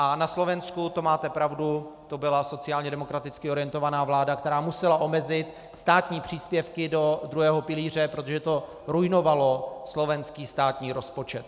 A na Slovensku, to máte pravdu, to byla sociálně demokraticky orientovaná vláda, která musela omezit státní příspěvky do druhého pilíře, protože to ruinovalo slovenský státní rozpočet.